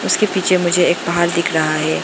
इसके पीछे मुझे एक पहाड़ दिख रहा है।